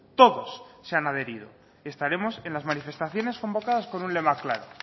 todos se han adherido estaremos en las manifestaciones convocadas con un lema claro